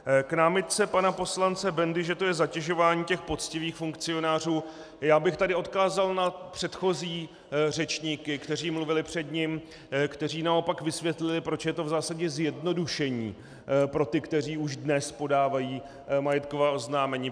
K námitce pana poslance Bendy, že to je zatěžování těch poctivých funkcionářů, já bych tady odkázal na předchozí řečníky, kteří mluvili před ním, kteří naopak vysvětlili, proč je to v zásadě zjednodušení pro ty, kteří už dnes podávají majetková oznámení.